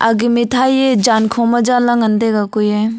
age mithai ye zaan kho ma janla ngan taiga kuiye.